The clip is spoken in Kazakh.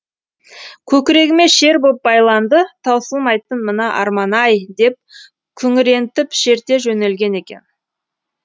көкірегіме шер боп байланды таусылмайтын мына арман ай деп күңірентіп шерте жөнелген екен